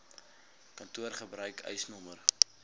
kantoor gebruik eisnr